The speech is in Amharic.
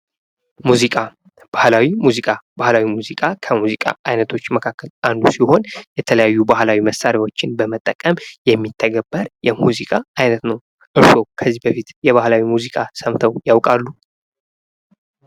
ሙዚቃ ባህላዊ ሙዚቃ ባህላዊ ሙዚቃ ከሙዚቃ አይነቶች መካከል ሲሆን የተለያዩ ባህላዊ መሳሪያዎችን በመጠቀም የሚተገበር የሙዚቃ አይነት ነው። እርስዎ ከዚህ በፊት የባህላዊ ሙዚቃ ሰምተው ያውቃሉ?